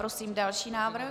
Prosím další návrh.